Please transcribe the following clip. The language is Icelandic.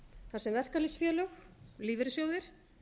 þar sem verkalýðsfélög lífeyrissjóðir